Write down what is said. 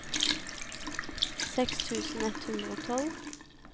seks tusen ett hundre og tolv